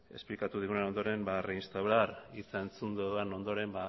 esplikatu digunaren ondoren ba reinstaurar hitz entzun dudan ondoren